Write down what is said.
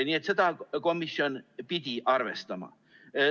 Nii et seda pidi komisjon arvestama.